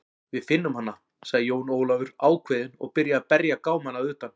Við finnum hana, sagði Jón Ólafur ákveðinn og byrjaði að berja gámana að utan.